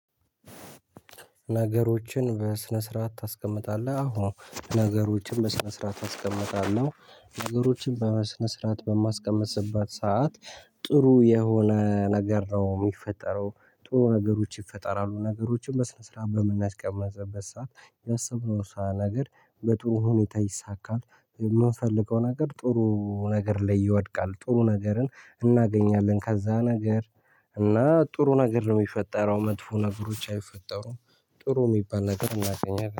ነገሮችን በስነ ስርዓት ታስቀምጣለህ አዎ ነገሮችን በስነ ስርዓት አስቀምጣለው ነገሮችን በስነ ስርዓት በማስቀምጥበት ሰዓት ጥሩ የሆነ ነገር ነው የሚፈጠረው። ጥሩ ነገሮች ይፈጠራሉ። ነገሮችን በስነ ስርዓት በምናስቀምጥበት ሰዓት ያሰብነውሳ ነገር በጥሩ ሁኔታ ይሳካል። የምንፈልገው ነገር ጥሩ ነገር ላይ ይወድቃል ጥሩ ነገርን እናገኛለን። ከዛ ነገር እና ጥሩ ነገር ነው የሚፈጠረው መጥፎ ነገሮች አይፈጠሩም። ጥሩ የሚባል ነገር እናገኛለን